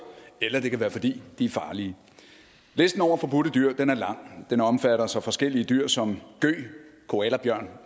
eller det kan være fordi de er farlige listen over forbudte dyr er lang den omfatter så forskellige dyr som gøg koalabjørn